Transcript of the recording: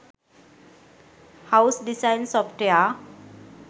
house design software